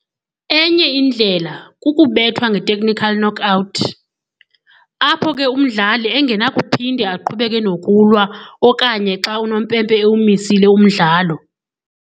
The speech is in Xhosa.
enye indlela kukubethwa ngetechnical knockout, apho ke umdlali engenakuphinde aqhubeke nokulwa okanye xa unompempe ewumisile umdlalo.